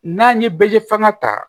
N'an ye bɛ fanga ta